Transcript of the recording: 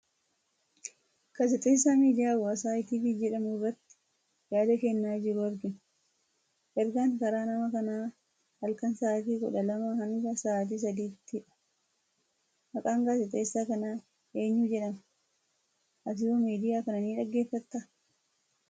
Gaazexeessaa miidiyaa hawaasaa ETV jedhamu irratti yaada kennaa jiru argina. Ergaan karaa nama kanaa halkan sa'aatii kudha lamaa hanga sa'aatii sadiitti dha. Maqaan gaazexeessaa kanaa eenyu jedhama. Atihoo Miidiyaa kana ni dhaggeeffattaa?